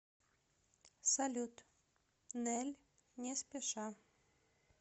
салют нель не спеша